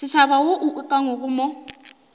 setšhaba wo o ukangwego mo